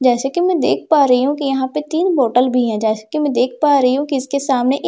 जैसे कि मैं देख पा रही हूं कि यहां पे तीन बोतल भी है जैसे कि मैं देख पा रही हूं कि इसके सामने एक --